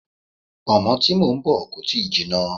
Pọ̀nmọ́ tí mò ń bọ̀ kò tíì jinná.